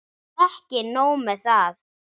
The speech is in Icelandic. Ekki nóg með að